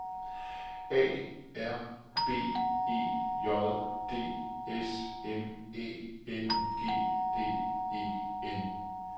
A R B E J D S M Æ N G D E N